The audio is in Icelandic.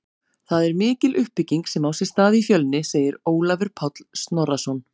Það er mikil uppbygging sem á sér stað í Fjölni, segir Ólafur Páll Snorrason.